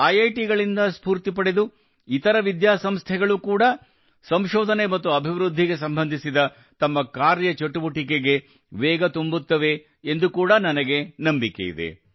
ಐಐಟಿಗಳಿಂದ ಸ್ಫೂರ್ತಿ ಪಡೆದು ಇತರೆ ವಿದ್ಯಾ ಸಂಸ್ಥೆಗಳು ಕೂಡಾ ಸಂಶೋಧನೆ ಮತ್ತು ಅಭಿವೃದ್ಧಿ ಸಂಬಂಧಿತ ತಮ್ಮ ಕಾರ್ಯ ಚಟುವಟಿಕೆಗೆ ವೇಗ ತುಂಬುತ್ತವೆ ಎಂದು ಕೂಡಾ ನನಗೆ ನಂಬಿಕೆ ಇದೆ